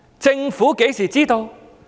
政府何時知道？